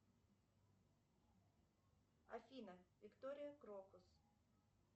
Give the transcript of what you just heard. афина виктория крокус